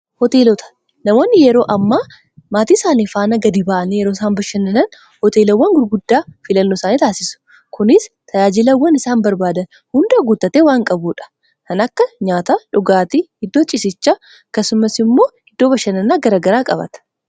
Hooteelota. Namoonni yeroo hammaa maatii isaanii faana gadi ba'anii yeroo isaan bashannanan, hooteelawwan gurguddaa filannoo isaani taasisu. Kunis tajaajilawwan isaan barbaadan hunda guuttatee waan qabuudha. Kan akka nyaataa, dhugaatii, iddoo ciisichaa akkasumas immoo iddoo bashannanaa garaagaraa qabata.